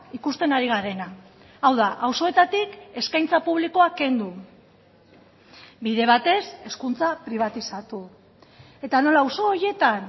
ikusten ari garena hau da auzoetatik eskaintza publikoa kendu bide batez hezkuntza pribatizatu eta nola auzo horietan